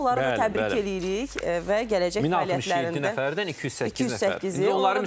Onları da təbrik eləyirik və gələcək fəaliyyətlərində 1067 nəfərdən 208 nəfər.